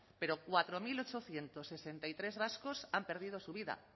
pero cuatro mil ochocientos sesenta y tres vascos han perdido su vida